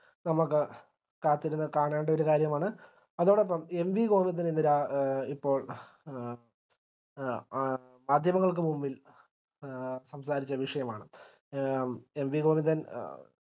നമുക്ക് കാത്തിരുന്ന് കാണേണ്ട ഒര് കാര്യമാണ് അതോടൊപ്പം എൻ വി ഗോവിന്ദനെതിരെ ഇപ്പോൾ എ എ മാധ്യമങ്ങൾക്ക് മുമ്പിൽ സംസാരിച്ച ഒരു വിഷയമാണ് എൻ വി ഗോവിന്ദൻ